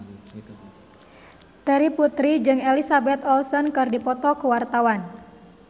Terry Putri jeung Elizabeth Olsen keur dipoto ku wartawan